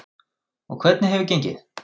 Og hvernig hefur gengið?